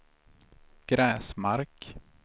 Gräsmark